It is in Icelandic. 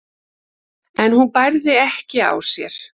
en hún bærði ekki á sér.